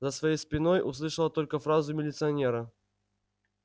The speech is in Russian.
за своей спиной услышала только фразу милиционера